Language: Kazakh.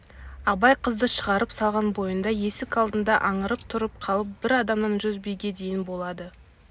абай қызды шығарып салған бойында есік алдында аңырып тұрып қалып бір адамнан жүз биге дейін болады